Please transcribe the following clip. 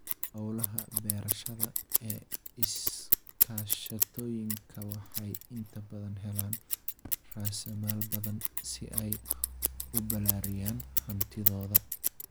Hawlaha beerashada ee iskaashatooyinka waxay inta badan helaan raasamaal badan si ay u balaariyaan hantidooda.